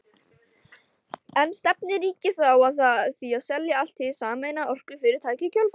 En stefnir ríkið þá að því að selja allt hið sameinaða orkufyrirtæki í kjölfarið?